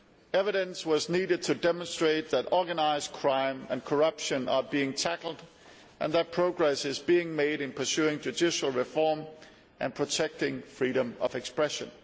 Evidence was needed to demonstrate that organised crime and corruption are being tackled and that progress is being made in pursuing judicial reform and protecting freedom of expression.